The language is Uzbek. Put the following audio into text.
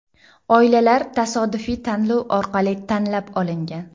Oilalar tasodifiy tanlov orqali tanlab olingan.